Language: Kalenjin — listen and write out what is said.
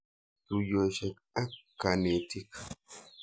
Tuyosyek ak kanetik.